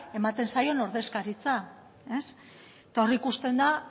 ematen zaio ordezkaritza eta hor ikusten da